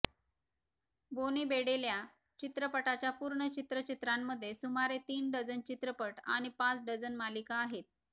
Boney Bedelia चित्रपटाच्या पूर्ण चित्रचित्रांमध्ये सुमारे तीन डझन चित्रपट आणि पाच डझन मालिका आहेत